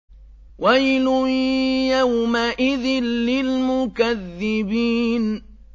وَيْلٌ يَوْمَئِذٍ لِّلْمُكَذِّبِينَ